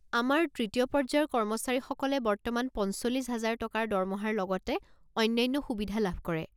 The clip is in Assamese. আমাৰ তৃতীয় পৰ্য্যায়ৰ কৰ্মচাৰীসকলে বৰ্তমান পঞ্চল্লিছ হাজাৰ টকাৰ দৰমহাৰ লগতে অন্যান্য সুবিধা লাভ কৰে।